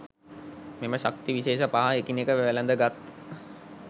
මෙම ශක්ති විශේෂ පහ එකිනෙක වැලඳගත්